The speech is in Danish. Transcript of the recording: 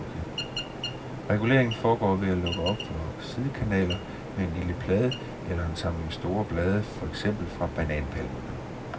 Reguleringen foregår ved at lukke op for sidekanaler med en lille plade eller en samling store blade for eksempel fra bananpalmerne.